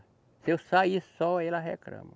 Se eu sair só, ela reclama.